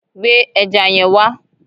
Gbé ẹja yẹn wá